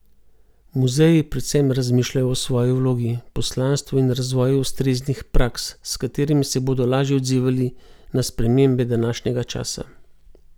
Muzeji predvsem razmišljajo o svoji vlogi, poslanstvu in razvoju ustreznih praks, s katerimi se bodo lažje odzivali na spremembe današnjega časa.